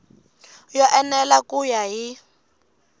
yo enela ku ya hi